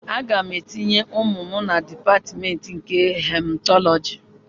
Aga m etinye ụmụ m na Dipatmentị nke Hematọlọji